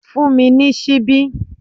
Fun mi ni sibi!